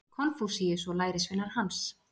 Konfúsíus og lærisveinar hans.